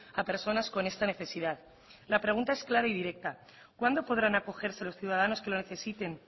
a personas con esta necesidad la pregunta es clara y directa cuándo podrán acogerse los ciudadanos que lo necesiten